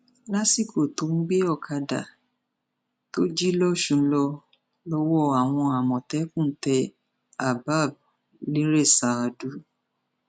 lásìkò tó ń gbé ọkadà tó jí lọsùn lọ lọwọ àwọn àmọtẹkùn tẹ habab nirèṣàádú